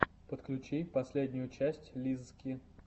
подключи последнюю часть лиззки